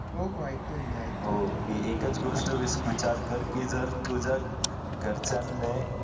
हो हो ऐकतोय मी ऐकतोय ओके एकाच गोष्ट विचार कर की जर तुझा घरच्यांने